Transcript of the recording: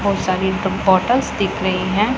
बहुत सारी बॉटल्स दिख रही है।